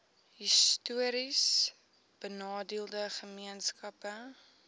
histories benadeelde gemeenskappe